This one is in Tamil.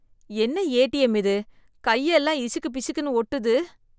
என்ன ஏடிஎம் இது, கை எல்லாம் இசிக்கு பிசிக்குன்னு ஒட்டுது.